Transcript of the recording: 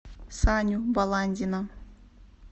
саню баландина